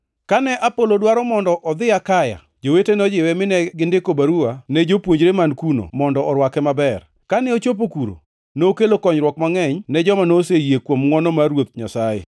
Kane Apolo dwaro mondo odhi Akaya, jowete nojiwe mine gindiko baruwa ne jopuonjre man kuno mondo orwake maber. Kane ochopo kuno, nokelo konyruok mangʼeny ne joma noseyie kuom ngʼwono mar Ruoth Nyasaye.